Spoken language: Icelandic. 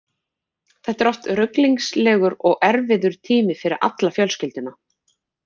Þetta er oft ruglingslegur og erfiður tími fyrir alla fjölskylduna.